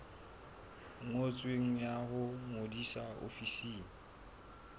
ngotsweng ya ho ngodisa ofising